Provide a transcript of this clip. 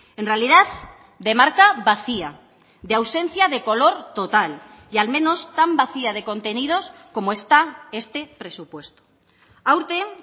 en realidad de marca vacía de ausencia de color total y al menos tan vacía de contenidos como está este presupuesto aurten